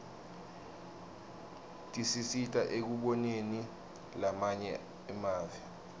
tisisita ekuboneni lamanye emave